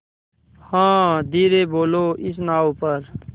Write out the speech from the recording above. हाँ धीरे बोलो इस नाव पर